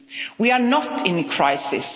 years. We are not in